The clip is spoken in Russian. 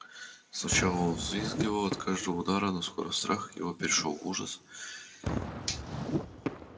сначала он взвизгивал от каждого удара но скоро страх его перешёл в ужас